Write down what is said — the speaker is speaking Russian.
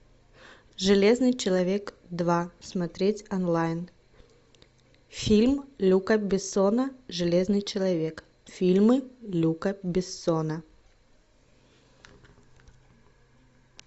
железный человек два смотреть онлайн фильм люка бессона железный человек фильмы люка бессона